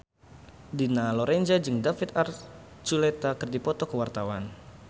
Dina Lorenza jeung David Archuletta keur dipoto ku wartawan